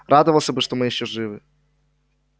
радовался бы что мы ещё живы